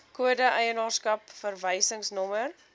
kode eienaarskap verwysingsnommer